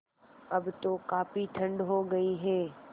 अब तो काफ़ी ठण्ड हो गयी है